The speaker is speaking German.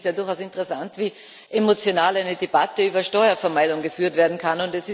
Es ist durchaus interessant, wie emotional eine Debatte über Steuervermeidung geführt werden kann.